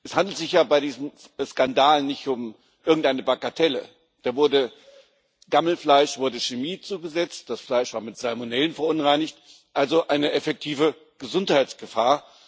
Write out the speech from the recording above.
Es handelt sich ja bei diesem Skandal nicht um irgendeine Bagatelle. Gammelfleisch wurde Chemie zugesetzt, das Fleisch war mit Salmonellen verunreinigt also eine effektive Gesundheitsgefahr.